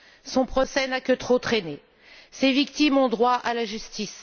Son procès n'a que trop traîné, ses victimes ont droit à la justice.